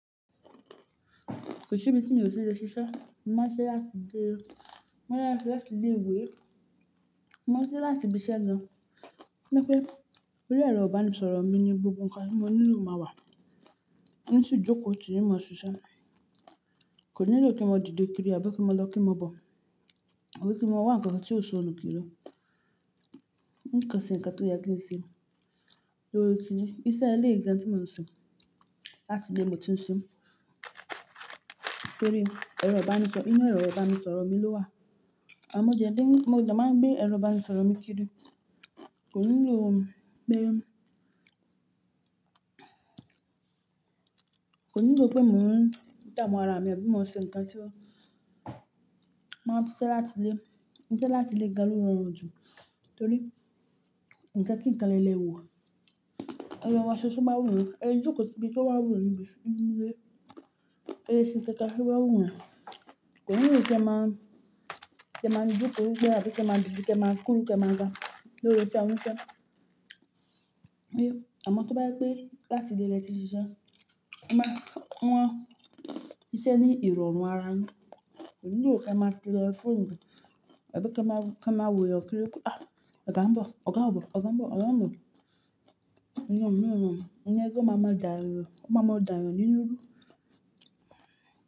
Kò sí ibi tí n ò le ṣiṣẹ́. Má ṣe láti gbé, má ṣe láti lé ìwé, má ṣe láti ibk iṣẹ́ lọ. Bí i pé eré ọba ni sọ̀rọ̀ mi ni gbogbo nǹkan tí mo nílò máa wà. Ǹtí jókòó ti ìmọ̀ sísá kò nílò kí mo dìde kiri àbí kí mo lọ kí mo bọ̀. Kò ní kí mo wá ǹkan kan tí ò so nù kiri. Nǹkan sì ǹkan tó yẹ kí n ṣe. Lórí kìn-ín, iṣẹ́ ẹlẹ́ ìgbà tí mò ń sọ láti gbé èmi ti ń se. Torí ẹrù ọba ni sọ, inú ẹrù ọba ni sọ̀rọ̀ mi ló wà. Àmọ ẹ jẹ́ ẹbí, mo dà máa gbé ẹrù ọba ni sọ̀rọ̀ mi kiri. Kò nílò pé, kò nílò pé mò ń tàwọn ara mi, àbí mo ń ṣe ǹkan tí wọ́n, máa ń tún ṣe láti lé, ǹkan láti lé ga lórí wọn jù. Torí ǹkan kí n kan lẹ́ẹ́wọ́. Ẹrù wọn ṣoṣo máa wúwo, ẹjù kò sí ibi tí wọn á wúwo nù bí inú ilé. Ẹṣin tẹ́ka sì wá wúwo. Kò nílò kí ẹ máa, kí ẹ máa jókòó gbé ẹbí, kí ẹ máa dìde, kí ẹ máa kúrò, kí ẹ máa ga lórí iṣẹ́ wọn sẹ́. Àmọ tó bá yẹ pé láti gbé ẹ ti ń ṣiṣẹ́, máa wọ́n iṣẹ́ ní ìrọ̀rùn ara wọn. Kò nílò kí ẹ máa lo fóònù, àbí kí ẹ máa, kí ẹ máa wòyẹ kiri pé, "À! Ọ̀gá ń bọ̀, Ọ̀gá ń bọ̀, Ọ̀gá ń bọ̀, Ọ̀gá ń bọ̀." Ǹjẹ́ kó máa máa dààrò, kó máa máa dààrò nínú rú.